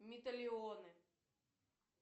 металионы